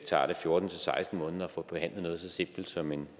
tager det fjorten til seksten måneder at få behandlet noget så simpelt som en